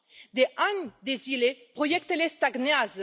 De ani de zile, proiectele stagnează.